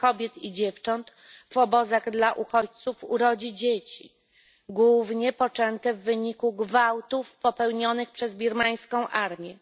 kobiet i dziewcząt w obozach dla uchodźców urodzi dzieci, głównie poczęte w wyniku gwałtów popełnionych przez birmańską armię.